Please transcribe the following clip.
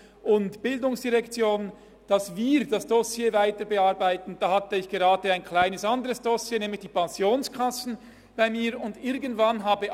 Als die GEF und die ERZ beschlossen hatten, dass wir das Dossier weiter bearbeiten, war ausserdem gerade ein anderes kleines Dossier bei mir, nämlich die Pensionskassen.